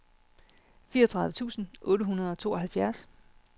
fireogtredive tusind otte hundrede og tooghalvfjerds